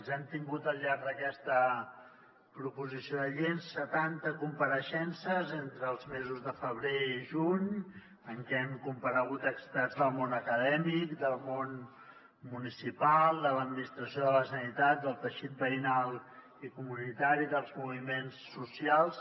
hem tingut al llarg d’aquesta proposició de llei setanta compareixences entre els mesos de febrer i juny en què han comparegut experts del món acadèmic del món municipal de l’administració de la generalitat del teixit veïnal i comunitari dels moviments socials